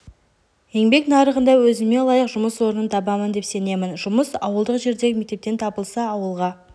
еңбек нарығында өзіме лайық жұмыс орнын табамын деп сенемін жұмыс ауылдық жердегі мектептен табылса ауылға